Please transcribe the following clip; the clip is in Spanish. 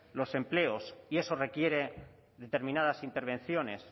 los empleos y eso requiere determinadas intervenciones